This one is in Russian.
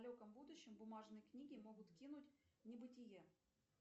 в далеком будущем бумажные книги могут кинуть в небытие